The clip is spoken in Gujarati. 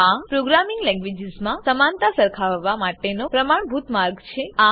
આ પ્રોગ્રામિંગ લેંગવેજીસમાં સમાનતા સરખાવવા માટેનો પ્રમાણભૂત માર્ગ છે